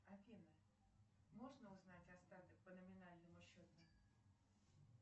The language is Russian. афина можно узнать остаток по номинальному счету